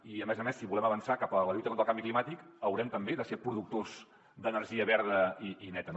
i a més a més si volem avançar cap a la lluita contra el canvi climàtic haurem també de ser productors d’energia verda i neta no